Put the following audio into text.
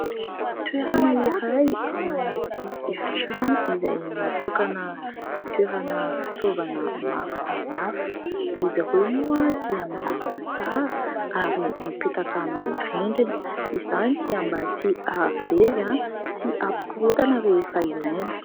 Toerana iray ao anaty efitrano izay natokana itoerana fitaovana maro samihafa. Izy ireo moa dia milamina tsara ary mipetaka amin'ny rindrina, izany dia mba tsy ahavery sy ampikorotana rehefa ilaina.